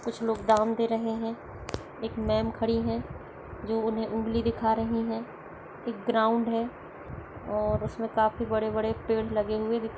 कुछ लोग दाम दे रहे है एक मेम खड़ी है जो उन्हें उंगली दिखा रही है एक ग्राउंड है और उसमें काफी बड़े-बड़े पेड़ लगे हुए दिख--